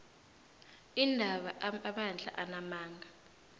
iindaba amabandla anamandla